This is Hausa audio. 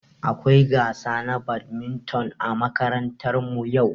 Akwai gasa na badminton ã makarantan mu yau.